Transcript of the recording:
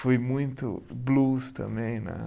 Fui muito blues também, né?